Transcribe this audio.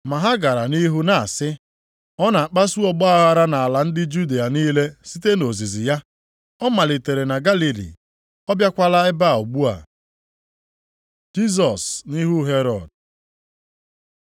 Ma ha gara nʼihu na-asị, “Ọ na-akpasu ọgbaaghara nʼala ndị Judịa niile site nʼozizi ya. Ọ malitere na Galili, ọ bịakwala ebe a ugbu a.” Jisọs nʼihu Herọd